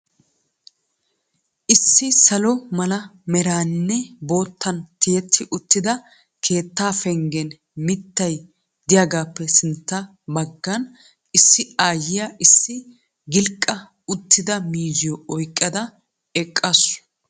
Issi salo mala meraanimne boottan tiyetti uttida keettaa pengen mittay diyagaappe sintta baggan issi aayyiya issi gilqqa uttida miizziyo oyiqada eqqaasu.